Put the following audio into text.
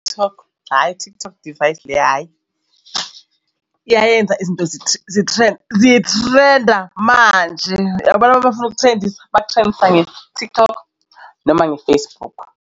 TikTok, hhayi TikTok device le hhayi iyayenza izinto zithrenda manje abantu bafuna ukuthrendisa bakthrendisa nge-TikTok noma nge-Facebook.